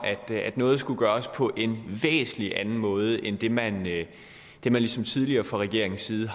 at noget skulle gøres på en væsentlig anden måde end det man det man ligesom tidligere fra regeringens side